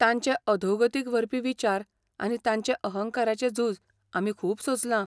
तांचे अधोगतिक व्हरपी विचार आनी तांचे अहंकाराचें झूज आमी खूब सोंसलां.